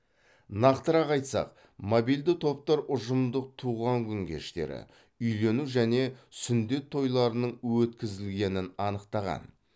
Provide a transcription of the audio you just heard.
нақтырақ айтсақ мобильді топтар ұжымдық туған күн кештері үйлену және сүндет тойларының өткізілгенін анықтаған